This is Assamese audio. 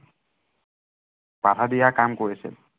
বাধা দিয়া কাম কৰিছিল।